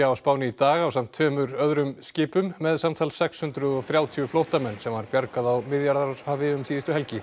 á Spáni í dag ásamt tveimur öðrum skipum með samtals sex hundruð og þrjátíu flóttamenn sem var bjargað á Miðjarðarhafi síðustu helgi